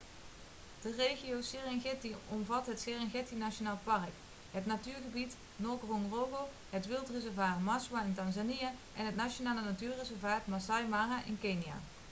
de regio serengeti omvat het serengeti nationaal park het natuurgebied ngorongoro het wildreservaat maswa in tanzania en het nationale natuurreservaat masai mara in kenia